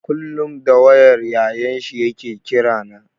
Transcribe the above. Kullum da wayar Yayan shi ya ke kira na.